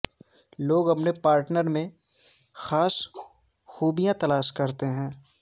لوگ اپنے پارٹنر میں خاص خوبیاں تلاش کرتے ہیں